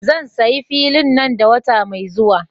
Zan sayi fili nan da wata mai zuwa.